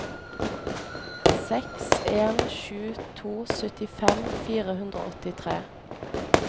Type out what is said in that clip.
seks en sju to syttifem fire hundre og åttitre